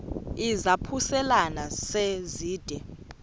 izaphuselana se zide